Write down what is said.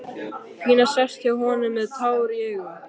Pína sest hjá honum með tár í augum.